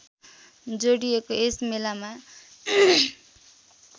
जोडिएको यस मेलामा